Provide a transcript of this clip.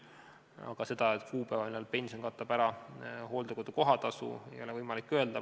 Aga seda kuupäeva, millal pension katab ära hooldekodu kohatasu, ei ole võimalik öelda.